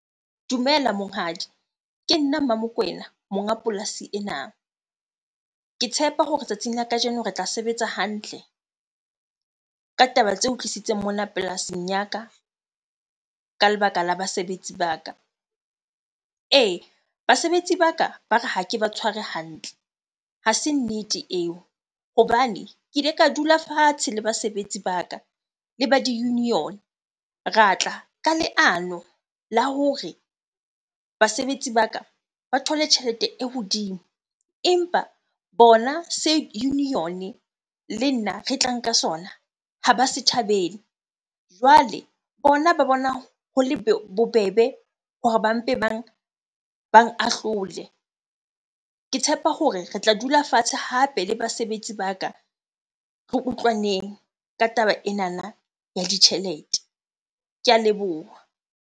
Dumela monghadi. Ke nna Mmamokwena, monga polasi ena. Ke tshepa hore tsatsing la kajeno re tla sebetsa hantle ka taba tse utlwisitseng mona polasing ya ka, ka lebaka la basebetsi ba ka. Ee, basebetsi ba ka ba re, ha ke ba tshware hantle. Ha se nnete eo hobane ke ile ka dula fatshe le basebetsi ba ka le ba di-union, ra tla ka leano la hore basebetsi ba ka ba thole tjhelete e hodimo. Empa bona union le nna re tla nka sona ha ba se thabele. Jwale bona ba bona ho le bobebe hore ba mpe bang ahlole. Ke tshepa hore re tla dula fatshe hape le basebetsi ba ka, re utlwaneng ka taba enana ya ditjhelete. Ke a leboha.